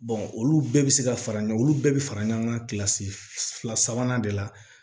olu bɛɛ bɛ se ka fara ɲɔgɔn olu bɛɛ bɛ fara ɲɔgɔn kan kilasi fila sabanan de la